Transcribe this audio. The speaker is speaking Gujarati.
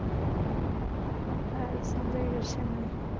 હા એ સાંભળ્યું છે મેં